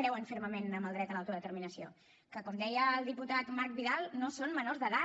creuen fermament en el dret a l’autodeterminació que com deia el diputat marc vidal no són menors d’edat